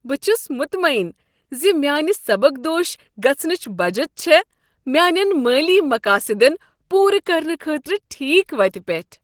بہٕ چھس مطععن ز میٛانہ سبکدوش گژھنٕچ بچت چھےٚ میانٮ۪ن مٲلی مقٲصِدن پورٕ کرنہٕ خٲطرٕ ٹھیک وتِہ پٮ۪ٹھ۔